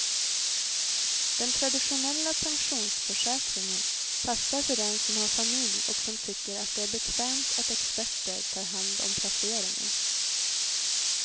Den traditionella pensionsförsäkringen passar för den som har familj och som tycker att det är bekvämt att experter tar hand om placeringen.